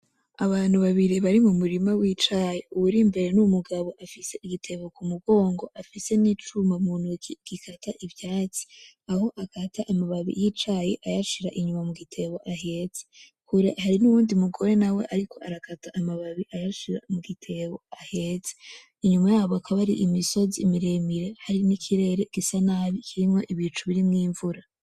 Abantu babiri bari mumurima wicayi. Uwuri mbere n'umugabo afise igitebo kumugongo afise nicuma mu ntoke gikata ivyatsi. Aho akata amababi yicayi ayashira inyuma mugitebo ahetse. Hariho uwundi mugore ariko arakata amababi ayashira mugitebo ahetse. Inyuma yabo hakaba hari imisozi miremire, hari nikirere gisa nabi kirimwo ibicu birimwo imvura.